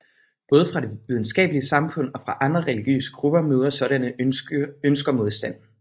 Både fra det videnskabelige samfund og fra andre religiøse grupper møder sådanne ønsker modstand